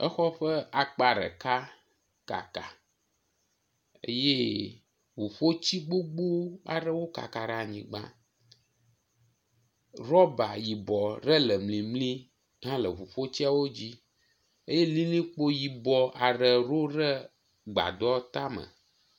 Exɔ ƒe akpa ɖeka kaka eye ʋuƒoti gbogbo aɖewo kaka ɖe anyigba, rɔba yibɔ ɖe le mlimli hã le ʋuƒotsia wodzi eye lilikpo yibɔ aɖe ɖo ɖe gbadɔ tame.